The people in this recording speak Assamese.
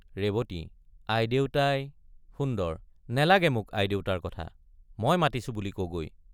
ৰেৱতী—আইদেউতাই— সুন্দৰ—নেলাগে মোক আইদেউতাৰ কথা—মই মাতিছো বুলি কগৈ।